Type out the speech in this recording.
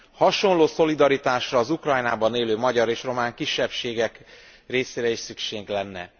Hasonló szolidaritásra az Ukrajnában élő magyar és román kisebbségek részére is szükség lenne.